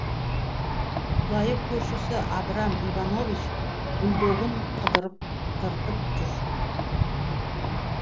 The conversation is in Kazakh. құдайы көршісі абрам иванович бульдогын қыдырып жүр